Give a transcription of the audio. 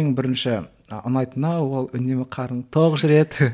ең бірінші і ұнайтыны ол үнемі қарның тоқ жүреді